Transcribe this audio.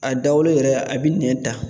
A dawolo yɛrɛ a bɛ nɛn ta